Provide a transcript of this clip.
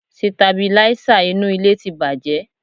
Sitabilísà inú ilé ti bàjẹ́